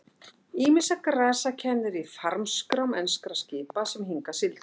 Ýmissa grasa kennir í farmskrám enskra skipa sem hingað sigldu.